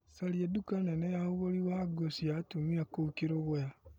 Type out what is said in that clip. Caria nduka nene ya ũgũri wa nguo cia atumia kũu Kĩrũgũya.